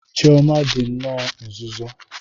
Chioma dị nnọọ nzuzo.